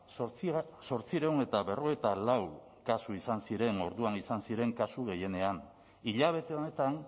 zortziehun eta berrogeita lau kasu izan ziren orduan izan ziren kasu gehienean hilabete honetan